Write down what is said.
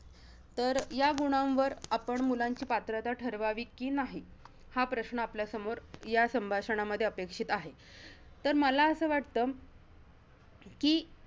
तर या गुणांवर आपण, मुलांची पात्रता ठरवावी कि नाही हा प्रश्न आपल्यासमोर या संभाषणामध्ये अपेक्षित आहे. तर, मला असं वाटतं, कि